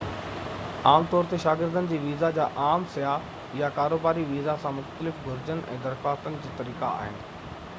عام طور تي شاگردن جي ويزا جا عام سياح يا ڪاروباري ويزا سان مختلف گهرجون ۽ درخواستن جي طريقا آهن